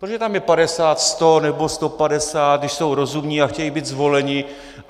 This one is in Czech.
Proč tam je 50, 100 nebo 150, když jsou rozumní a chtějí být zvoleni.